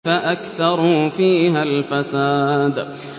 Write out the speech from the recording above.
فَأَكْثَرُوا فِيهَا الْفَسَادَ